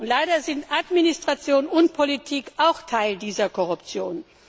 Leider sind Administration und Politik auch Teil dieser Korruption.